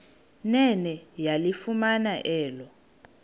nene yalifumana elo